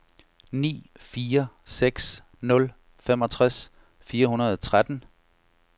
ni fire seks nul femogtres fire hundrede og tretten